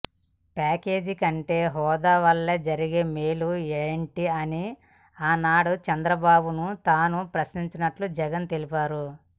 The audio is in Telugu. ప్యాకేజీకంటే హోదావల్ల జరిగే మేలు ఏంటని ఆనాడు చంద్రబాబుని తాను ప్రశ్నించినట్లు జగన్ తెలిపారు